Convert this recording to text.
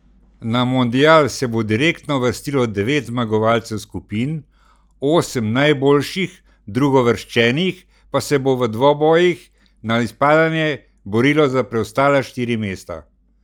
Na mundial se bo direktno uvrstilo devet zmagovalcev skupin, osem najboljših drugouvrščenih pa se bo v dvobojih na izpadanje borilo za preostala štiri mesta.